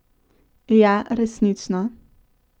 Ja, resnično.